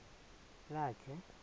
lakhe